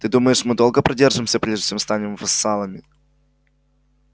ты думаешь мы долго продержимся прежде чем станем вассалами